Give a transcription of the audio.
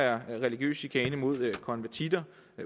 er religiøs chikane mod konvertitter